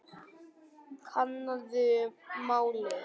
Kannaðu málið.